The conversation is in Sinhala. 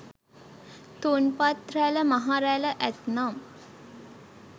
තුන්පත් රැළ මහ රැළ ඇත්නම්